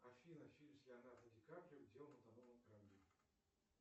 афина фильм с леонардо ди каприо где он утонул на корабле